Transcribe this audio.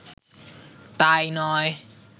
তা-ই নয়